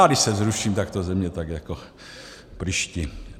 Já když se vzruším, tak to ze mě tak jako prýští.